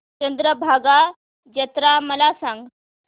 चंद्रभागा जत्रा मला सांग